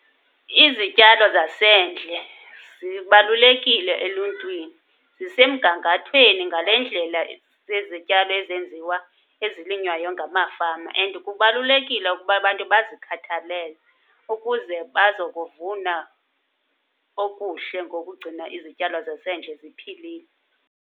Izityalo zasendle zibalulekile eluntwini. Zisemgangathweni ngale ndlela zezityalo ezenziwa, ezilinywayo ngamafama and kubalulekile ukuba abantu bazikhathalele ukuze bazokuvuna okuhle ngokugcina izityalo zasendle ziphilile.